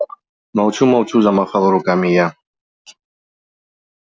молчу молчу замахала руками я